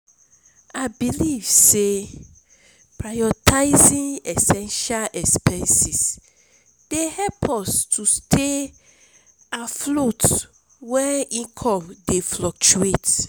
i believe say prioritizing essential expenses dey help us to stay afloat when income dey fluctuate.